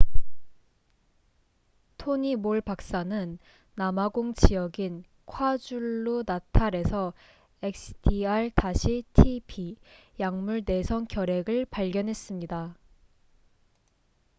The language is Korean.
토니 몰 박사는 남아공 지역인 콰줄루나탈에서 xdr-tb약물 내성 결핵를 발견했습니다